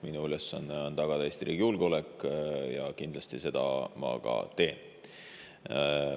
Minu ülesanne on tagada Eesti riigi julgeolek ja seda ma kindlasti ka teen.